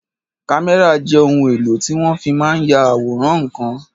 Kámẹ́rà jẹ́ ohun èlò tí wọ́n fi máa n ya àwòrán ǹkan